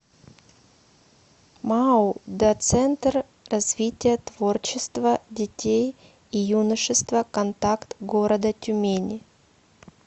мау до центр развития творчества детей и юношества контакт города тюмени